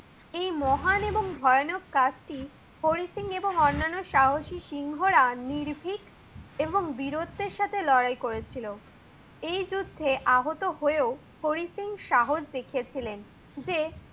এই মহান এবং বয়ানক কাজটি হরি সিং এবং অন্যান্য সাহসী সিংহ রা নির্বিগ এবং বীরত্বের সাথে লড়াই করেছিল। এই যুদ্ধে আহত হয়েও হরি সিং সাহস দেখিয়েছিলেন। যে